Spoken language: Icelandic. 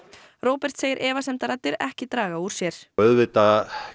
Róbert segir efasemdaraddir ekki draga úr sér auðvitað